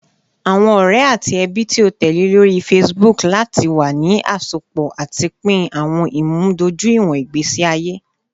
Awọn ọrẹ ati ẹbi ti o tẹle lori Facebook lati wa ni asopọ ati pin awọn imudojuiwọn igbesi aye